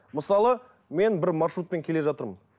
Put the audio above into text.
мысалы мен бір маршрутпен келе жатырмын